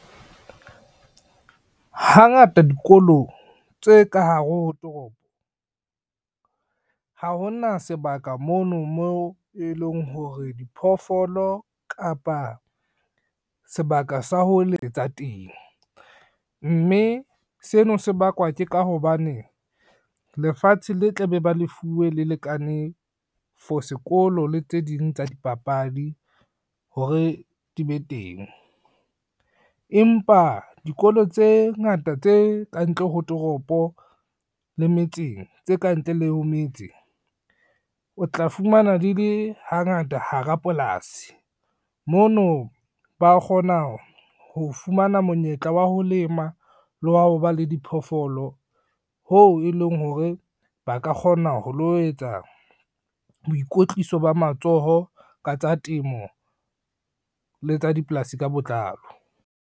Hangata dikolo tse ka hare ho toropo, ha ho na sebaka mono mo e leng hore diphoofolo kapa sebaka sa ho letsa teng, mme seno se bakwa ke ka hobane lefatshe le tla be ba lefuwe le lekane for sekolo le tse ding tsa dipapadi hore di be teng. Empa dikolo tse ngata tse kantle ho toropo le metseng, tse kantle le ho metse o tla fumana di le hangata hara polasi, mono ba kgona ho fumana monyetla wa ho lema le wa ho ba le diphoofolo ho e leng hore ba ka kgona ho lo etsa boikotliso ba matsoho ka tsa temo le tsa dipolasi ka botlalo.